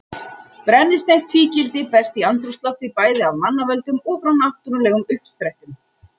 Brennisteinstvíildi berst í andrúmsloftið bæði af mannavöldum og frá náttúrulegum uppsprettum.